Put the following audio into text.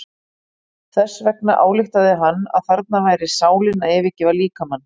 Þess vegna ályktaði hann að þarna væri sálin að yfirgefa líkamann.